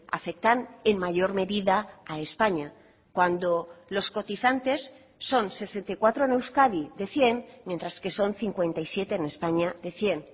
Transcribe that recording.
aceptan en mayor medida a españa cuando los cotizantes son sesenta y cuatro en euskadi de cien mientras que son cincuenta y siete en españa de cien